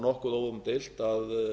nokkuð óumdeilt að